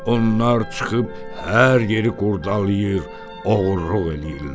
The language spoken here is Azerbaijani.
Onlar çıxıb hər yeri qurdalayır, oğurluq eləyirlər.